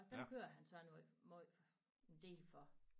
Om dem kører han så nu måj en del for